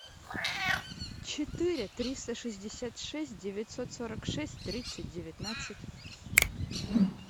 четыре триста шестьдесят шесть девятьсот сорок шесть тридцать девятнадцать